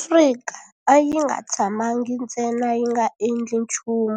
Afrika a yi nga tshamangi ntsena yi nga endli nchumu